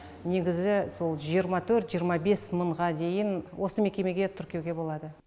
негізі сол жиырма төрт жиырма бес мыңға дейін осы мекемеге тіркеуге болады